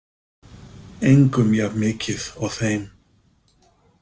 Engum jafn mikið og þeim.